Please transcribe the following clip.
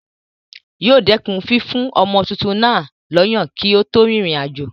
Yóò dẹ̀kun fífún ọmọ tuntun náà lọ́yàn kí ó tó rin ìrìn àjò.